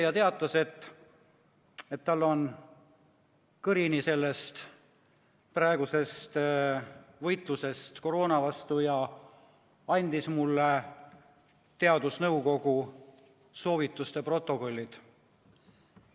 Ta teatas, et tal on kõrini sellest praegusest võitlusest koroona vastu, ja andis mulle teadusnõukoja soovituste protokollid.